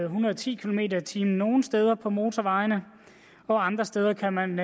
hundrede og ti kilometer per time nogle steder på motorvejene og andre steder kan man